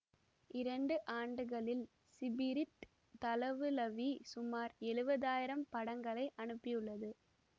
இரண்டு ஆண்டுகளில் ஸிபிரிட் தளவுளவி சுமார் எழுவதாயிரம் படங்களை அனுப்பியுள்ளது